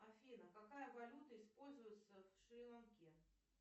афина какая валюта используется в шри ланке